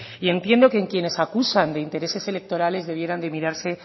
y entiendo que quienes acusan de intereses electorales debieran de mirarse